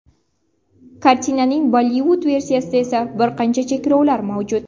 Kartinaning Bollivud versiyasida esa bir qancha cheklovlar mavjud.